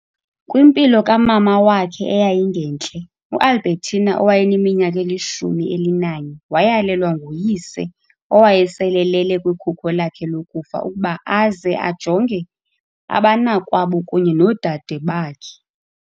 Kwimpilo kamama wakhe eyayingentle, uAlbertina owayeneminyaka elishumi elinanye wayalelwa nguyise owayesele elele kwikhuko lakhe lokufa ukuba aze ajonge abanakwabo kunye noodade bakhe.